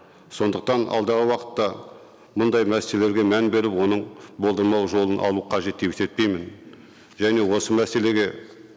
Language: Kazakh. сондықтан алдағы уақытта мұндай мәселелерге мән беріп оның болдырмау жолын алу қажет деп есептеймін және осы мәселеге